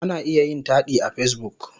Ana iya yin taɗi a Facebook.